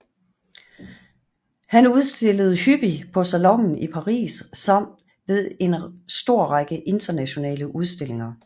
Han udstillede hyppig på Salonen i Paris samt ved en stor række internationale udstillinger